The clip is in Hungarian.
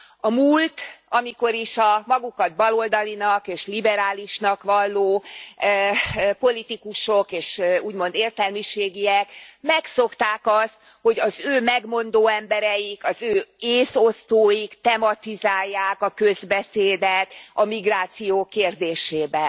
A múlt, amikor is a magukat baloldalinak és liberálisnak valló politikusok és úgymond értelmiségiek megszokták azt, hogy az ő megmondó embereik, az ő észosztóik tematizálják a közbeszédet a migráció kérdésében.